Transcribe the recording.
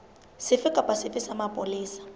sefe kapa sefe sa mapolesa